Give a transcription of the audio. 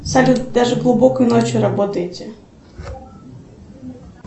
салют даже глубокой ночью работаете